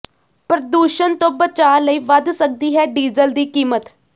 ਪ੍ਰਦੂਸ਼ਣ ਤੋਂ ਬਚਾਅ ਲਈ ਵੱਧ ਸਕਦੀ ਹੈ ਡੀਜ਼ਲ ਦੀ ਕੀਮਤ